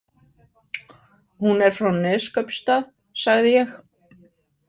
Hún er frá Neskaupstað, sagði ég.